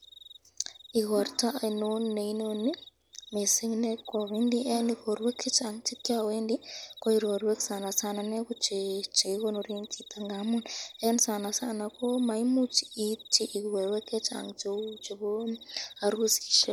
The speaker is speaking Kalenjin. Igorwek ainon neinoni mising nekaiwendi ,eng igorwek chechang chekiawendi ko okorwek sanasana ko chekikonoren chito ngamun eng sanasana komaimuch keitti igorwek chechang cheu chebo arusisyek.